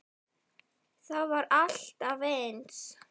Það var alltaf eins.